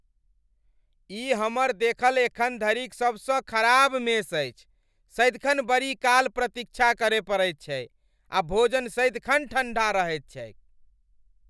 ई हमर देखल एखन धरिक सबसँ खराब मेस अछि। सदिखन बड़ी काल प्रतीक्षा करय पड़ैत छै आ भोजन सदिखन ठण्डा रहैत छैक।